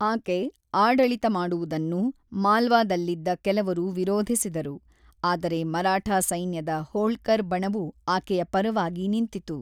ಆಕೆ ಆಡಳಿತ ಮಾಡುವುದನ್ನು ಮಾಲ್ವಾದಲ್ಲಿದ್ದ ಕೆಲವರು ವಿರೋಧಿಸಿದರು, ಆದರೆ ಮರಾಠಾ ಸೈನ್ಯದ ಹೋಳ್ಕರ್ ಬಣವು ಆಕೆಯ ಪರವಾಗಿ ನಿಂತಿತು.